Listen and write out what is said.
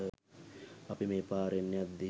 අපි මේ පාරෙන් යද්දී